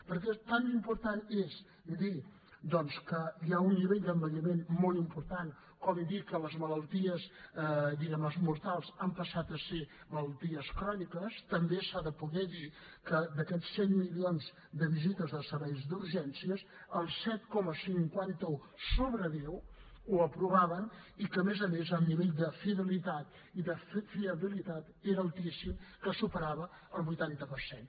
perquè tan important és dir doncs que hi ha un nivell d’envelliment molt important com dir que les malalties mortals han passat a ser malalties cròniques també s’ha de poder dir que d’aquests cent milions de visites als serveis d’urgències el set coma cinquanta un sobre deu ho aprovaven i que a més a més el nivell de fidelitat i de fiabilitat era altíssim que superava el vuitanta per cent